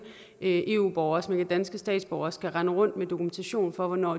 eu borgere som ikke er danske statsborgere skal rende rundt med dokumentation for hvornår